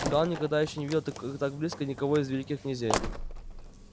гаал никогда ещё не видел так близко никого из великих князей